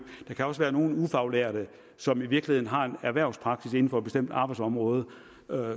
der kan også være nogle ufaglærte som i virkeligheden har en erhvervspraksis inden for et bestemt arbejdsområde